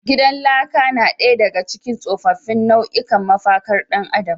Gidan laka na daya daga cikin tsofaffin nau’ikan mafakar dan adam.